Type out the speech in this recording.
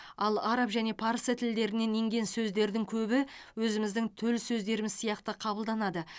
ал араб және парсы тілдерінен енген сөздердің көбі өзіміздің төл сөздеріміз сияқты қабылданады